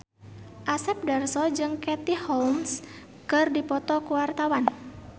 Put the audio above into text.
Asep Darso jeung Katie Holmes keur dipoto ku wartawan